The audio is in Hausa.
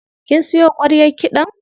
Kin siyo ƙwaryar kiɗan?